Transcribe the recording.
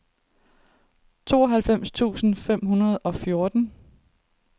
tooghalvfems tusind fem hundrede og fjorten